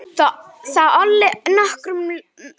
Það olli nokkrum usla.